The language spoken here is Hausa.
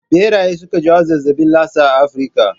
Ɓeraye suke jawo zazzabin lasa a Afrika